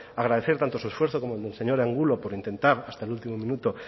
agradecer tanto su esfuerzo como el del señor angulo por intentar hasta el último minuto